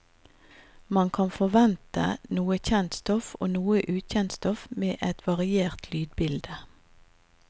Man kan forvente noe kjent stoff og noe ukjent stoff med et variert lydbilde.